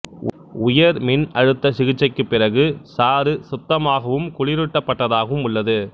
உயர் மின்னழுத்த சிகிச்சைக்குப் பிறகு சாறு சுத்தமாகவும் குளிரூட்டப்பட்டதாகவும் உள்ளது